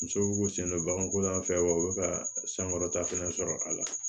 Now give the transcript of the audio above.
Muso ko sendonbagako yan fɛ wa u bɛ ka sankɔrɔta fana sɔrɔ a la